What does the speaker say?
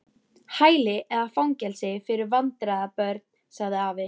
Hæli eða fangelsi fyrir vandræða- börn sagði afi.